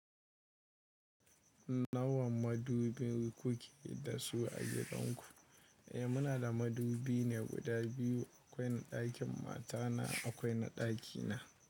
Nawa madubi kuke da su a gidan ku? Eh muna da madubi ne guda biyu, akwai na dakin matana akwai na dakina.